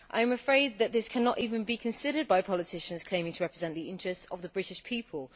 I am afraid that this cannot even be considered by politicians claiming to represent the interests of the British people.